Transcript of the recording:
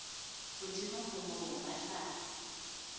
hodimo ho moo ba tla